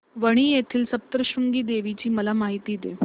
वणी येथील सप्तशृंगी देवी ची मला माहिती दे